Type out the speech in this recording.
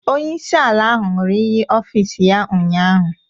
Onyeisi ala ahụ ṅụrụ iyi ọfịs ya ụnyaahụ